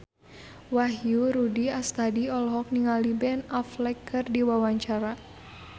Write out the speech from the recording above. Wahyu Rudi Astadi olohok ningali Ben Affleck keur diwawancara